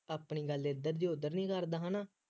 ਆਪਣੀ ਗੱਲ ਇੱਧਰ ਦੀ ਉੱਧਰ ਨਹੀਂ ਕਰਦਾ ਹੈ ਨਾ